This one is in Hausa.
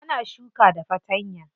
Ana shuka da fatanya.